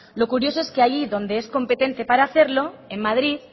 lo curioso es que allí donde es competente para hacerlo en madrid